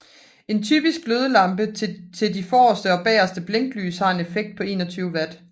En typisk glødelampe til de forreste og bageste blinklys har en effekt på 21 Watt